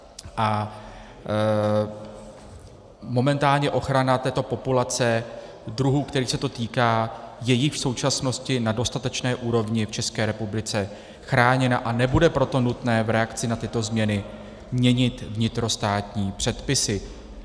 A momentálně ochrana této populace druhů, kterých se to týká, je již v současnosti na dostatečné úrovni v České republice chráněna, a nebude proto nutné v reakci na tyto změny měnit vnitrostátní předpisy.